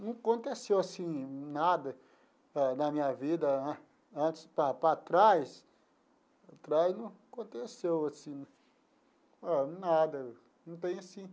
Não aconteceu assim nada na na minha vida antes, para para trás, atrás não aconteceu assim nada, não tem assim.